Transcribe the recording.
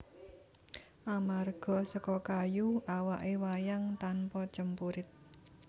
Amarga seka kayu awake wayang tanpa cempurit